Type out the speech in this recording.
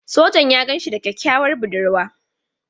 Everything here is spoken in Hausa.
Sojan ya gan shi da kyakkyawar budurwa.